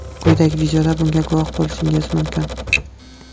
Quyidagi videoda bunga guvoh bo‘lishingiz mumkin.